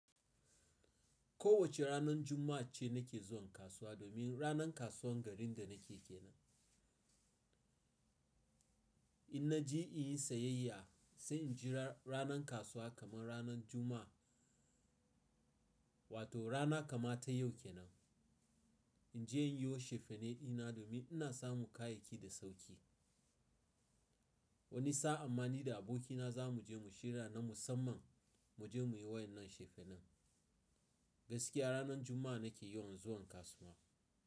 Kowace ranar Juma'a ce nake zuwa kasuwa domin ranar kasuwar garin da nake kenan. In na je in yi sayayya, sai in jira ranar kasuwa kamar ranar Juma'a wato rana kama ta yau kenan. In je in yi wasu shefenai na domin ina samu kayayyaki da sauƙi. Wani sa'a amma ni da abokina za mu je mu shirya na musamman mu je mu yi wannan shefenan. Gaskiya ranar Juma'a nake yawan zuwan kasuwa.